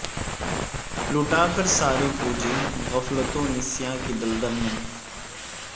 لٹا کر ساری پونجی غفلت و نسیاں کی دلدل میں